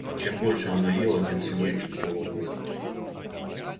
и чем больше она ела тем сильнее чувствовала голод